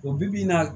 O bi-bi in na